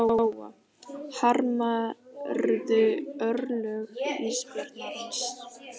Lóa: Harmarðu örlög ísbjarnarins?